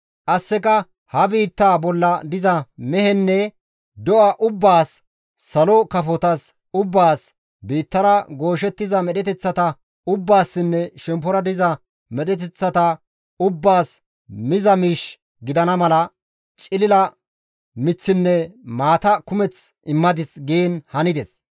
Qasseka ha biittaa bolla diza mehenne do7a ubbaas, salo kafotas ubbaas, biittara gooshettiza medheteththata ubbaassinne shemppora paxa diza medheteththata ubbaas miza miish gidana mala, cilila miththinne maata kumeth immadis» giin hanides.